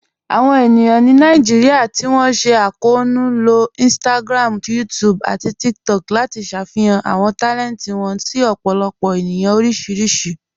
Awọn ènìyàn ni Naijíríà tí wọn sẹ̀dá akọọnu ló Instagram, YouTube, àti TikTok láti ṣáfíhàn àwọn talẹntì wọn sí ọ̀pọ̀lọpọ̀ ènìyàn oríṣiríṣì.